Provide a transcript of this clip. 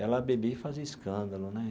Ela bebia e fazia escândalo né.